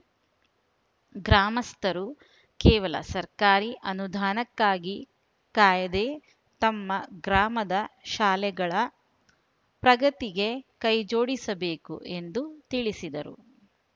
ಗ್ರಾಮಸ್ಥರು ಕೇವಲ ಸರ್ಕಾರಿ ಅನುದಾನಕ್ಕಾಗಿ ಕಾಯದೇ ತಮ್ಮ ಗ್ರಾಮದ ಶಾಲೆಗಳ ಪ್ರಗತಿಗೆ ಕೈಜೋಡಿಸಬೇಕು ಎಂದು ತಿಳಿಸಿದರು